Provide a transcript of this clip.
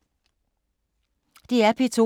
DR P2